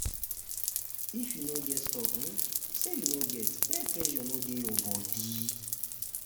if you no get talk um say you um no get um make pressure no de your body